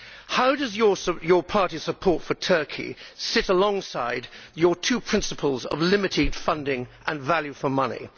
How does your party's support for Turkey sit alongside your two principles of limited funding and value for money?